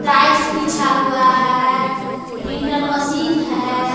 Tiles बिछा हुआ है प्रिंटर मशीन है।